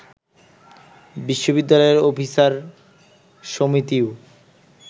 বিশ্ববিদ্যালয়ের অফিসার সমিতিও